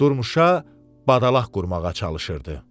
Durmuşa badalaq qurmağa çalışırdı.